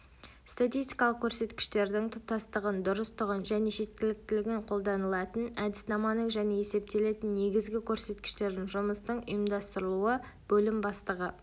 статистикалық көрсеткіштердің тұтастығын дұрыстығын және жеткіліктілігін қолданылатын әдіснаманың және есептелетін негізгі көрсеткіштердің жұмыстың ұйымдастырылуы бөлім бастығы